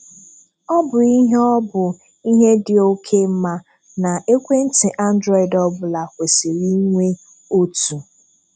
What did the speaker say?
Ọ bụ ihe Ọ bụ ihe di oke mma, na ekwentị Androidi ọbụla kwesịrị inwe otu.